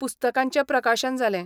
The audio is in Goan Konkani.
पुस्तकांचें प्रकाशन जालें.